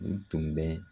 U tun bɛ